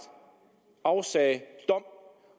afsagde dom